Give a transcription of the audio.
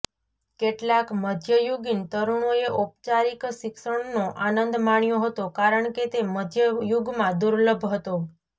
કેટલાક મધ્યયુગીન તરુણોએ ઔપચારિક શિક્ષણનો આનંદ માણ્યો હતો કારણ કે તે મધ્ય યુગમાં દુર્લભ હતો